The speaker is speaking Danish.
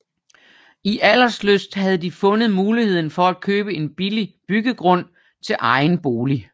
I Alderslyst havde de fundet muligheden for at købe en billig byggegrund til egen bolig